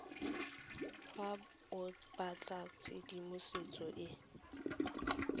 fa o batla tshedimosetso e